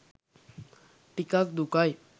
ටිකක් දුකයි